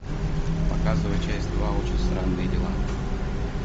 показывай часть два очень странные дела